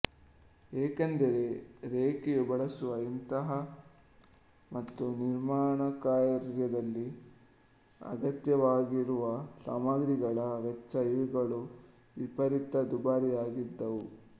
ಏಕೆಂದರೆ ರೆಕ್ಕೆಯು ಬಳಸುವ ಇಂಧನ ಮತ್ತು ನಿರ್ಮಾಣಕಾರ್ಯದಲ್ಲಿ ಅಗತ್ಯವಾಗಿರುವ ಸಾಮಗ್ರಿಗಳ ವೆಚ್ಚ ಇವುಗಳು ವಿಪರೀತ ದುಬಾರಿಯಾಗಿದ್ದವು